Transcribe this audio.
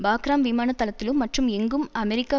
Bagram விமான தளத்திலும் மற்றும் எங்கும் அமெரிக்க